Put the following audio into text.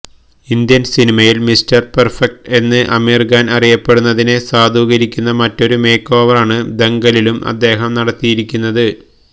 Indian സിനിമയില് mister perfect എന്ന് ആമിര് ഖാന് അറിയപ്പെടുന്നതിനെ സാധൂകരിക്കുന്ന മറ്റൊരു മേക്ക് ഓവറാണ് ദങ്കലിലും അദ്ദേഹം നടത്തിയിരിക്കുന്നത്